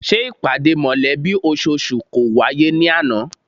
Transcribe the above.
Ṣé ìpàdé mọ̀lẹ́bí ososù náà kò wáyé ní àná?